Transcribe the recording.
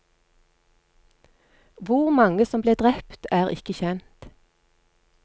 Hvor mange som ble drept er ikke kjent.